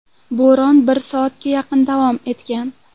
Bo‘ron bir soatga yaqin davom etgan.